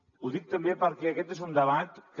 ho dic també perquè aquest és un debat que